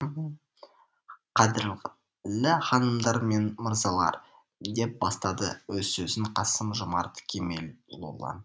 қадірлі ханымдар мен мырзалар деп бастады өз сөзін қасым жомарт кемелұлы